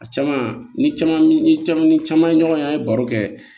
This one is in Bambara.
A caman ni caman ni caman ni caman ye ɲɔgɔn ye an ye baro kɛ